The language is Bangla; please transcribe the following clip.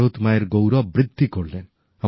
ভারত মায়ের গৌরব বৃদ্ধি করলেন